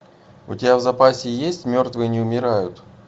у тебя в запасе есть мертвые не умирают